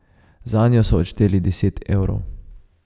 Zanjo so odšteli deset evrov.